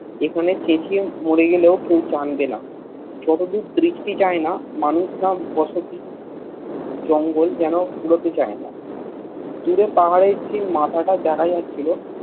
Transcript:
এখানে চেচিয়ে মরে গেলেও কেও জানবেনা যতদূর দৃষ্টি যায় মানুষ বা বসতি জঙ্গল যেন ফুরতে চায়না দূরে পাহাড়ের যে মাথাটা দেখা যাচ্ছিল